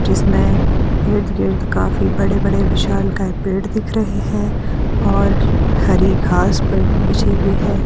जिसमें इर्ध गिर्द काफी बड़े बड़े विशालकाय पेड़ दिख रहे हैं और हरी घास पर बिछी हुई है।